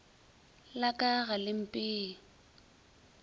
la ka ga le mpee